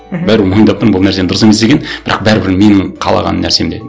мхм бәрібір мойындап тұрмын бұл нәрсенің дұрыс емес екенін бірақ бәрібір менің қалаған нәрсем де